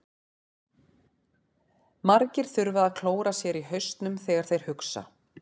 Margir þurfa að klóra sér í hausnum þegar þeir hugsa.